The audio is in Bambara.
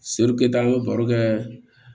an ye baro kɛ